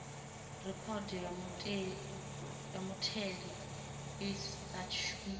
rekhodo ya mutheli i sa shumiho